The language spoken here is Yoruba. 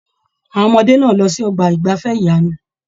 Àwọn ọmọdé náà lọ sí ọgbà igbafẹ̀ ìyanu.